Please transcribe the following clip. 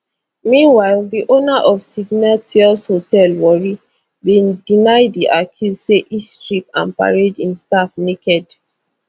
meanwhile di owner of signatious hotel warri bin deny di accuse say e strip and parade im staff naked